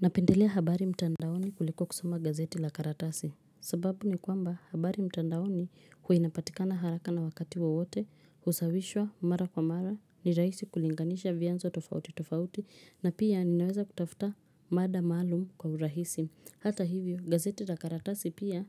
Napendelea habari mtandaoni kuliko kusoma gazeti la karatasi sababu ni kwamba habari mtandaoni huwa inapatikana haraka na wakati wowote husawishwa mara kwa mara ni rahisi kulinganisha vyanzo tofauti tofauti na pia ninaweza kutafuta mada maalum kwa urahisi hata hivyo gazeti la karatasi pia